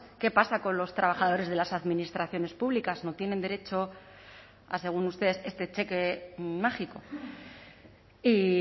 qué pasa con los trabajadores de las administraciones públicas no tienen derecho a según ustedes este cheque mágico y